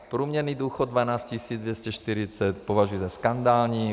Průměrný důchod 12 240 považuji za skandální.